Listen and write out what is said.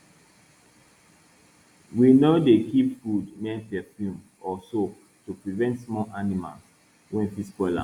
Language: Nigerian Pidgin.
we no dey keep food near perfume or soap to prevent small animals wey fit spoil am